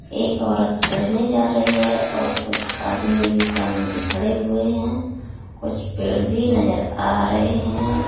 एक औरत चढ़ने जा रही है और कुछ आदमी भी सामने खड़े हुए हैं कुछ पेड़ भी नजर आ रहे हैं।